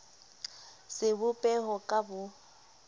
sebo peho ka b o